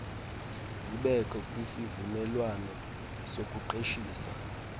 zibekho kwisivumelwano sokuqeshisa